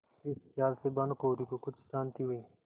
इस खयाल से भानुकुँवरि को कुछ शान्ति हुई